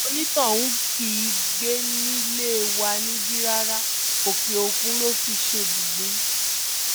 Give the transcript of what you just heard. onítọ̀hún kì í gbé nílé wa níbí rárá òkè-òkun ló fi ṣe ibùgbé